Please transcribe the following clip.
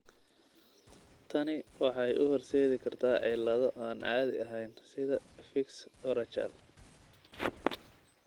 Tani waxay u horseedi kartaa cillado aan caadi ahayn sida fiix urachal.